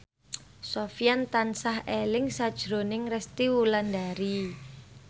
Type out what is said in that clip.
Sofyan tansah eling sakjroning Resty Wulandari